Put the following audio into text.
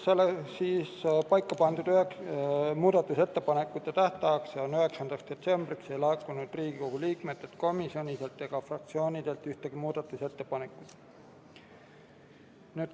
Paika pandud muudatusettepanekute tähtajaks, 9. detsembriks ei laekunud Riigikogu liikmetelt, komisjonidelt ega fraktsioonidelt ühtegi muudatusettepanekut.